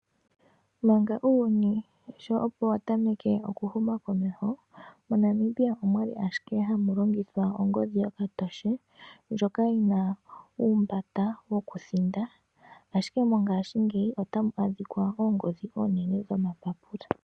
Manga uuyuni sho opo watameke okuhuma komesho, moNamibia omwali ashike hamu longithwa ongodhi yokatoshe, ndjoka yina uumbanda wokuthinda. Ashike mongashingeyi otamu adhika oongodhi oonene dhomapapula.